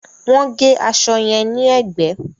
Wọ́n gé aṣọ yẹn ní ẹ̀gbẹ́